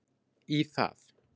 í það.